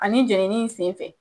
Ani jenini in senfɛ.